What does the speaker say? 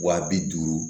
Wa bi duuru